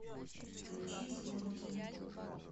включи звонкий